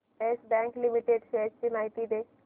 yes bank limited shares ची माहिती दे